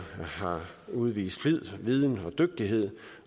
udvist flid viden og dygtighed